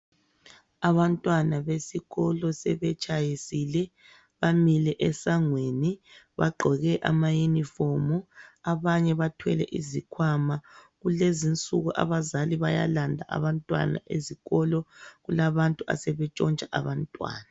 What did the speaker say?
Abantwana besikolo sebetshayisile bamile esangweni bagqoke amayunifomu, abanye bathwele izikhwama. Kulezinsuku abazali bayalanda abantwana ezikolo kulabantu asebetshontsha abantwana.